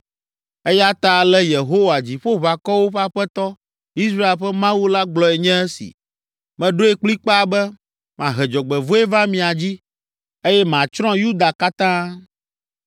“Eya ta ale Yehowa, Dziƒoʋakɔwo ƒe Aƒetɔ, Israel ƒe Mawu la gblɔe nye esi: Meɖoe kplikpaa be, mahe dzɔgbevɔ̃e va mia dzi, eye matsrɔ̃ Yuda katã.